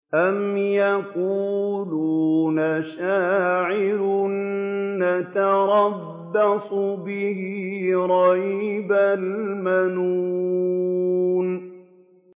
أَمْ يَقُولُونَ شَاعِرٌ نَّتَرَبَّصُ بِهِ رَيْبَ الْمَنُونِ